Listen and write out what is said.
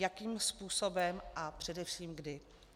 Jakým způsobem a především kdy?